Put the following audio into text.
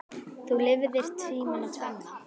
Þú lifðir tímana tvenna.